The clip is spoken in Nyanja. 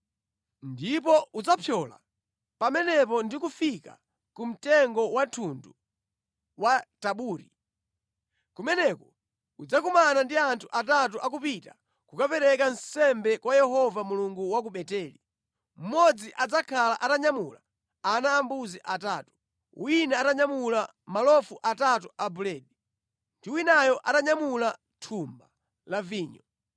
“Ndipo udzapyola pamenepo ndi kufika ku mtengo wa thundu wa ku Tabori. Kumeneko udzakumana ndi anthu atatu akupita kukapereka nsembe ku Nyumba ya Mulungu ku Beteli. Mmodzi adzakhala atanyamula ana ambuzi atatu, wina atanyamula malofu atatu a buledi, ndi winayo atanyamula thumba la vinyo.